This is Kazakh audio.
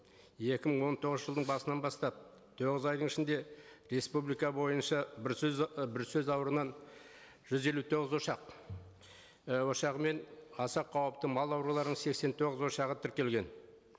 екі мың он тоғызыншы жылдың басынан бастап тоғыз айдың ішінде республика бойынша і бруцеллез ауруынан жүз елу тоғыз ошақ і ошағы мен аса қауіпті мал ауруларының сексен тоғыз ошағы тіркелеген